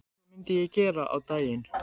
Hvað myndi ég gera á daginn?